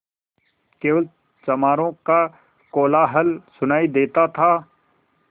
केवल चमारों का कोलाहल सुनायी देता था